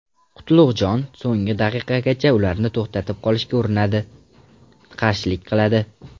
Qutlug‘jon so‘nggi daqiqagacha ularni to‘xtatib qolishga urinadi, qarshilik qiladi.